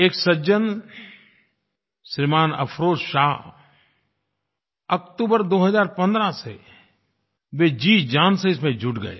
एक सज्जन श्रीमान् अफरोज़ शाह अक्टूबर 2015 से वे जीजान से इसमें जुट गए